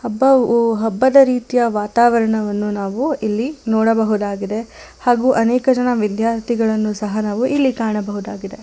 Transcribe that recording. ಹಬ್ಬವು ಹಬ್ಬದ ರೀತಿಯ ವಾತಾವರಣವನ್ನು ನಾವು ಇಲ್ಲಿ ನೋಡಬಹುದಾಗಿದೆ ಹಾಗು ಅನೇಕ ಜನ ವಿದ್ಯಾರ್ಥಿಗಳನ್ನು ಸಹ ನಾವು ಇಲ್ಲಿ ಕಾಣಬಹುದಾಗಿದೆ.